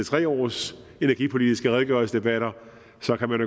tre års energipolitiske redegørelsesdebatter